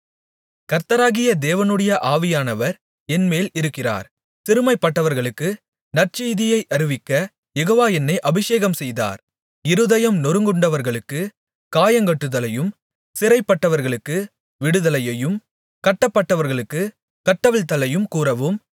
கர்த்தராகிய தேவனுடைய ஆவியானவர் என்மேல் இருக்கிறார் சிறுமைப்பட்டவர்களுக்கு நற்செய்தியை அறிவிக்கக் யெகோவா என்னை அபிஷேகம்செய்தார் இருதயம் நொறுங்குண்டவர்களுக்குக் காயங்கட்டுதலையும் சிறைப்பட்டவர்களுக்கு விடுதலையையும் கட்டப்பட்டவர்களுக்குக் கட்டவிழ்த்தலையும் கூறவும்